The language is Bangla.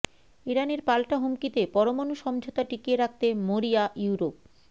ইরানের পাল্টা হুমকিতে পরমাণু সমঝোতা টিকিয়ে রাখতে মরিয়া ইউরোপ